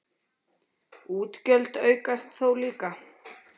Útgjöld aukast þó líka.